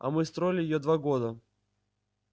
а мы строили её два года